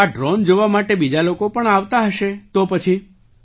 તો આ ડ્રૉન જોવા માટે બીજા લોકો પણ આવતા હશે તો પછી